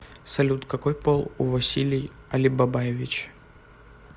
салют какой пол у василий алибабаевич